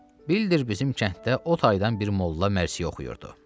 Bildir bizim kənddə o taydan bir molla mərsiyə oxuyurdu.